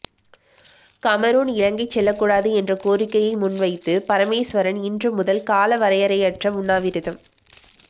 Cameron இலங்கை செல்லக்கூடாது என்ற கோரிக்கையை முன்வைத்து பரமேஸ்வரன் இன்று முதல் காலவரையறையற்ற உண்ணாவிரதம்